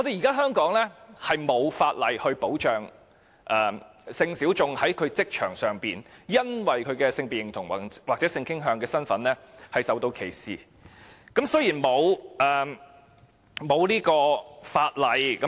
香港現時並無法例保障性小眾在職場上由於其性別認同或性傾向而受歧視的情況。